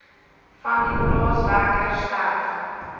vandie plaaswerker sterf